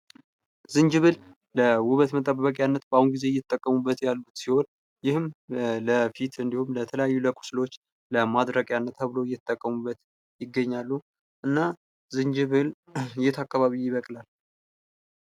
ዝንጅብል ለውበት መጠበቂያነት በአሁኑ ጊዜ እየተጠቀሙበት ያሉት ሲሆን ይህም ለፊት እንድሁም ለተለያዩ ለቁስሎች ለማድረቂያነት ተብሎ እየተጠቀሙበት ይገኛሉ። እና ዝንጅብል የት አካባቢ ይበቅላል?